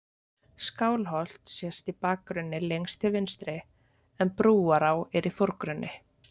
Skálholt sést í bakgrunni lengst til vinstri en Brúará er í forgrunni.